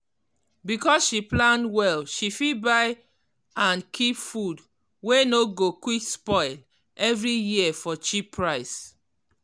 because she plan well she fit buy and keep food wey no go quick spoil every year for cheap price.